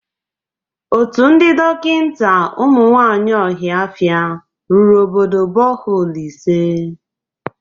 Otu ndị dọkịnta ụmụ nwaanyị ọhafịa rụrụ obodo bọholu ise.